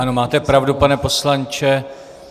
Ano, máte pravdu, pane poslanče.